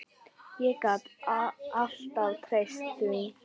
Ég gat alltaf treyst því.